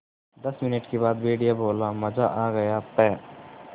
दस मिनट के बाद भेड़िया बोला मज़ा आ गया प्